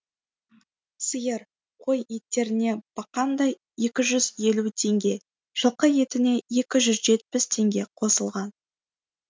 сиыр қой еттеріне бақандай екі жүз елу теңге жылқы етіне екі жүз жетпіс теңге қосылған